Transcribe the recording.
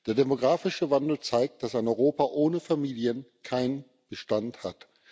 Der demografische Wandel zeigt, dass ein Europa ohne Familien keinen Bestand hat.